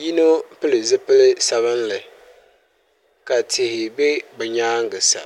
yino pili zipili sabinli ka tihi bɛ bi nyaangi sa